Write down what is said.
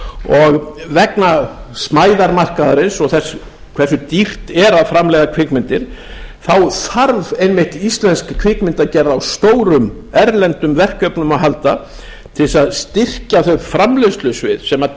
og vegna smæðar markaðarins og þess hversu dýrt er að framleiða kvikmyndir þá þarf einmitt íslensk kvikmyndagerð á stórum erlendum verkefnum að halda til þess að styrkja þau framleiðslusvið sem